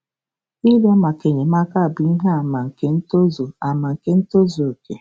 Ịrịọ maka enyemaka bụ ihe àmà nke ntozu àmà nke ntozu okè.